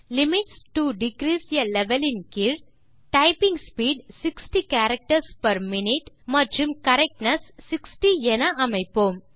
limits to degrees a level ன் கீழ்160 typing speed 60 characters per minute மற்றும் correctness 60 என அமைப்போம்